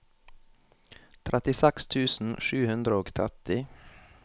trettiseks tusen sju hundre og tretti